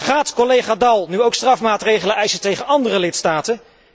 Gaat collega Daul nu ook strafmaatregelen eisen tegen andere lidstaten?